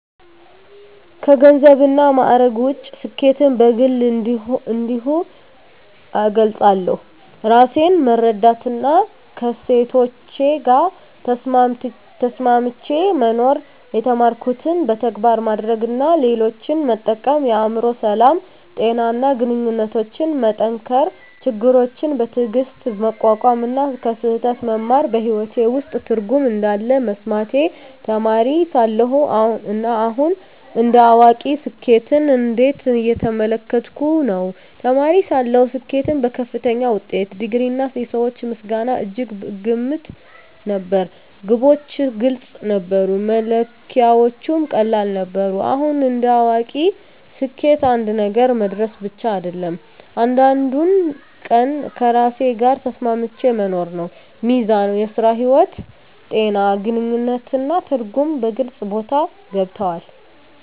ከገንዘብና ከማዕረግ ውጭ፣ ስኬትን በግል እንዲህ እገልጻለሁ፦ ራሴን መረዳትና ከእሴቶቼ ጋር ተስማምቼ መኖር የተማርኩትን በተግባር ማድረግ እና ሌሎችን መጠቀም የአእምሮ ሰላም፣ ጤና እና ግንኙነቶችን መጠንከር ችግሮችን በትዕግስት መቋቋም እና ከስህተት መማር በሕይወቴ ውስጥ ትርጉም እንዳለ መሰማቴ ተማሪ ሳለሁ እና አሁን እንደ አዋቂ ስኬትን እንዴት እየተመለከትኩ ነው? ተማሪ ሳለሁ ስኬትን በከፍተኛ ውጤት፣ ዲግሪ፣ እና የሰዎች ምስጋና እጅግ እገመት ነበር። ግቦች ግልጽ ነበሩ፣ መለኪያዎቹም ቀላል ነበሩ። አሁን እንደ አዋቂ ስኬት አንድ ነገር መድረስ ብቻ አይደለም፤ እያንዳንዱን ቀን ከራሴ ጋር ተስማምቼ መኖር ነው። ሚዛን (ሥራ–ሕይወት)፣ ጤና፣ ግንኙነት እና ትርጉም በግልጽ ቦታ ገብተዋል።